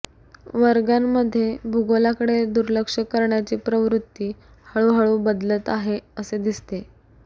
वर्गांमध्ये भूगोलकडे दुर्लक्ष करण्याची प्रवृत्ती हळूहळू बदलत आहे असे दिसते